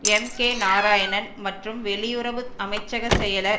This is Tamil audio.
எம் கே நாராயணன் மற்றும் வெளியுறவு அமைச்சக செயலர்